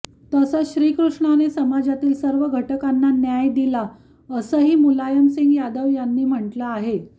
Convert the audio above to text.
तसंच श्रीकृष्णाने समाजातील सर्व घटकांना न्याय दिला असंही मुलायमसिंग यादव यांनी म्हटलं आहे